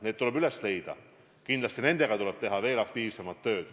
Need tuleb üles leida ja kindlasti tuleb nendega teha aktiivset tööd.